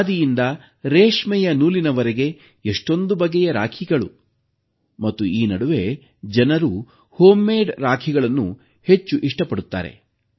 ಖಾದಿಯಿಂದ ರೇಷ್ಮೆಯ ನೂಲಿನವರೆಗೆ ಎಷ್ಟೊಂದು ಬಗೆಯ ರಾಖಿಗಳು ಮತ್ತು ಈ ನಡುವೆ ಜನರು ಮನೆಯಲ್ಲೇ ತಯಾರಿಸಿದ ರಾಖಿಗಳನ್ನು ಹೆಚ್ಚು ಇಷ್ಟಪಡುತ್ತಾರೆ